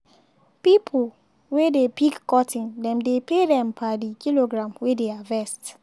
pipo wey dey pick cotton dem dey pay dem per the kilogram wey dey harvest.